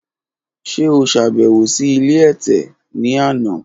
Ṣe o ṣabẹwo si ile ẹtẹ ni ana?